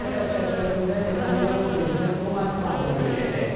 Səfər çərçivəsində Netanyahu prezident Donald Trampla görüşəcək.